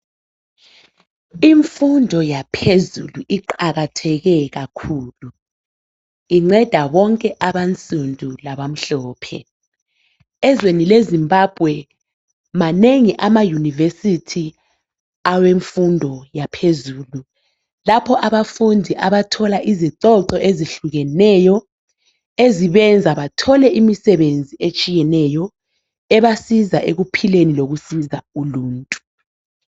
Imfundo yaphezulu iqakatheke kakhulu incwda bonke abansundu labamhlophe. Ezweni leZimbabwe manengi amayunivesithi awemfundo yaphezulu lapho abafundi abathola khona izicoco ezihlukeneyo ezibenza bathole imisebenzi etshiyeneyo ebasiza ekuphileni lokusiza uluntu.